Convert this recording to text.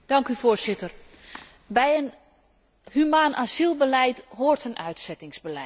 Bij een humaan asielbeleid hoort een uitzettingsbeleid, dat is waar.